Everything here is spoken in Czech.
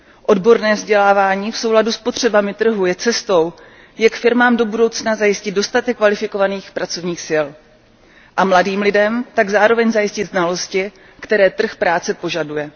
Odborné vzdělávání v souladu s potřebami trhu je cestou, jak firmám do budoucna zajistit dostatek kvalifikovaných pracovních sil a mladým lidem tak zároveň zajistit znalosti, které trh práce požaduje.